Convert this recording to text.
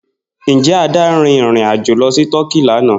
Njẹ Ada rin irin-ajo lọ si Tọki lana?